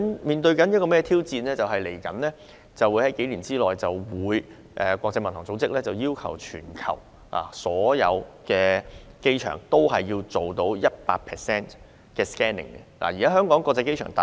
香港在這方面面對的挑戰是，在未來數年，國際民用航空組織將要求全球所有機場對 100% 空運貨物實施 X 光檢查。